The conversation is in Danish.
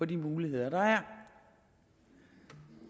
de muligheder der er